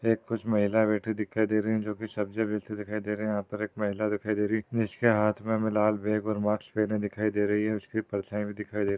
यह कुछ महिला बैठी हुई दिखाई दे रही है जो की सब्जी बेचते दिखाई दे रहे है। यहा पर एक महिला दिखाई दे रही है इसके हाथ मे हमे लाल बैग और मास्क पहने दिखाई दे रही है उसके पल्से भी दिखाई दे रही है।